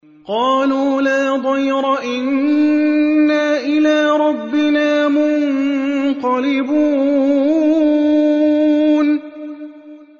قَالُوا لَا ضَيْرَ ۖ إِنَّا إِلَىٰ رَبِّنَا مُنقَلِبُونَ